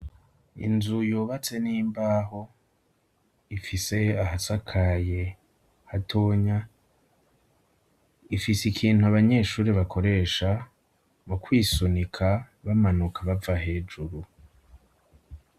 Inzu yubatse n'imbaho, ifise ahasakaye hatonya ifise ikintu abanyeshure bakoresha, mu kwisunika bamanuka bava hejuru.